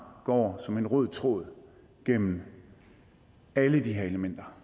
går som en rød tråd gennem alle de her elementer